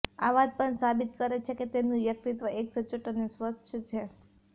આ વાત પણ સાબિત કરે છે કે તેમનું વ્યક્તિત્વ એક સચોટ અને સ્વચ્છ છે